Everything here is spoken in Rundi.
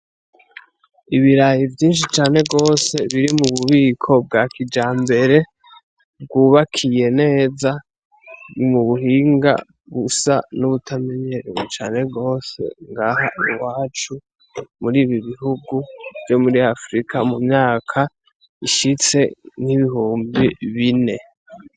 Ibiraya vyinshi cane gose biri mu bubiko bwa kijambere, bwubakiye neza mu buhinga gusa n' uwutamenyerewe cane gose ngaha iwacu muri ibi bihugu vyo muri Afurika, mu myaka ishitse n'ibihumbi.